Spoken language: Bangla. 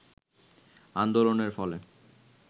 আন্দোলনের ফলে